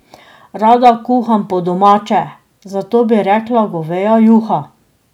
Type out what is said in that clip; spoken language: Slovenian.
Rada kuham po domače, zato bi rekla goveja juha.